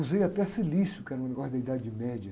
Usei até cilício, que era um negócio da idade média.